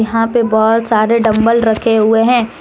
यहां पे बहोत सारे डंबल रखे हुए हैं।